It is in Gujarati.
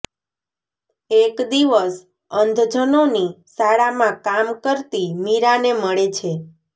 એક દિવસ અંધજનોની શાળામાં કામ કરતી મીરાંને મળે છે